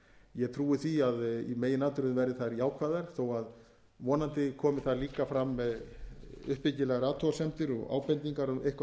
ég trúi því að í meginatriðum verði þær jákvæðar þó að vonandi komi þar líka fram uppbyggilegar athugasemdir og ábendingar um eitthvað sem